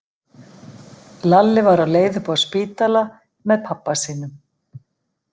Lalli var á leið upp á spítala með pabba sínum.